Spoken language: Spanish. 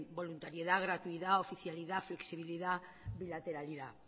voluntariedad gratuidad oficialidad flexibilidad bilateralidad